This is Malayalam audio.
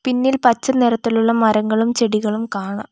പിന്നിൽ പച്ചനിറത്തിലുള്ള മരങ്ങളും ചെടികളും കാണാം.